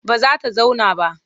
Ba za ta zauna ba.